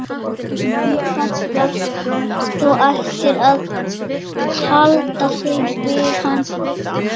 En ég held nú samt að þú ættir að halda þig við hann Kela.